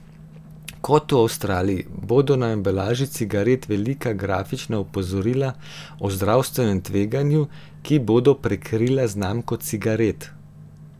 Kot v Avstraliji, bodo na embalaži cigaret velika, grafična opozorila o zdravstvenem tveganju, ki bodo prekrila znamko cigaret.